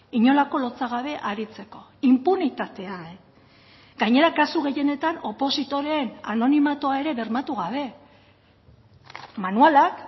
inolako lotsagabe aritzeko inpunitatea gainera kasu gehienetan opositoreen anonimatua ere bermatu gabe manualak